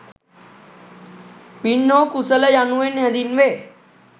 පින් හෝ කුසල යනුවෙන් හැඳින්වේ.